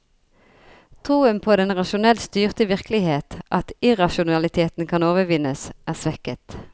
Troen på den rasjonelt styrte virkelighet, at irrasjonaliteten kan overvinnes, er svekket.